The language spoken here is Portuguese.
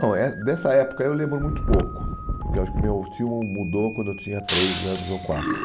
Não eh, dessa época eu lembro muito pouco, porque acho que meu tio mu mudou quando eu tinha três anos ou quatro.